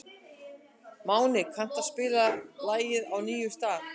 Máni, kanntu að spila lagið „Á nýjum stað“?